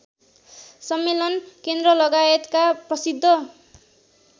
सम्मेलन केन्द्रलगायतका प्रसिद्ध